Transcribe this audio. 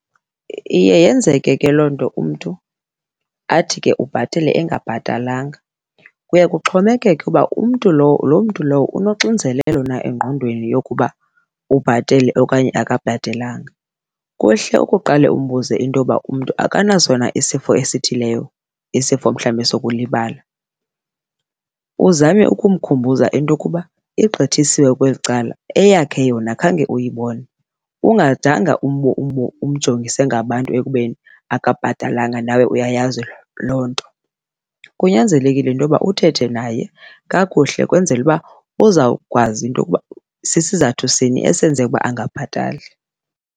Iye yenzeke ke loo nto umntu athi ke ubhatele engabhatalanga, kuye kuxhomekeke uba umntu loo mntu lowo unoxinzelelo na engqondweni yokuba ubhatele okanye akabhatelanga. Kuhle ukuqale umbuze into yoba umntu akanaso na isifo esithileyo, isifo mhlawumbe sokulibala, uzame ukumkhumbuza into yokuba iqgithisiwe kweli cala eyakhe yona khange uyibone, ungadanga umjongise ngabantu ekubeni akabhatalanga nawe uyayazi loo nto. Kunyanzelekile into yoba uthethe naye kakuhle kwenzela uba uzawukwazi into yokuba sisizathu sini esenze ukuba angabhatali.